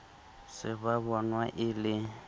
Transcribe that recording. se ba bonang e le